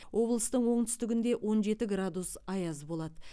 облыстың оңтүстігінде он жеті градус аяз болады